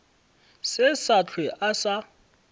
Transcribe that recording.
se sa hlwe a sa